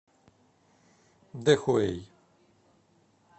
дэхуэй